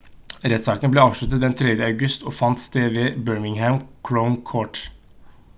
rettssaken ble avsluttet den 3. august og fant sted ved birmingham crown court